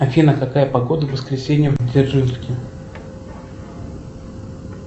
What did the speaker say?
афина какая погода в воскресенье в дзержинске